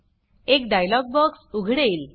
एक dialogue box उघडेल